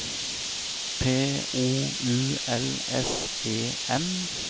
P O U L S E N